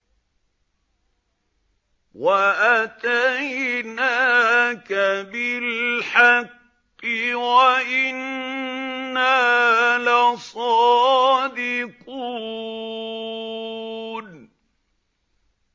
وَأَتَيْنَاكَ بِالْحَقِّ وَإِنَّا لَصَادِقُونَ